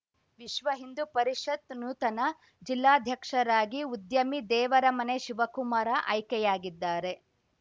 ವಿಶ್ವ ಹಿಂದು ಪರಿಷತ್‌ ನೂತನ ಜಿಲ್ಲಾಧ್ಯಕ್ಷರಾಗಿ ಉದ್ಯಮಿ ದೇವರಮನೆ ಶಿವಕುಮಾರ ಆಯ್ಕೆಯಾಗಿದ್ದಾರೆ